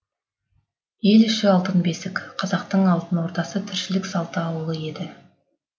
ел іші алтын бесік қазақтың алтын ордасы тіршілік салты ауылы еді